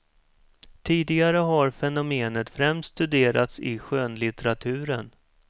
Tidigare har fenomenet främst studerats i skönlitteraturen.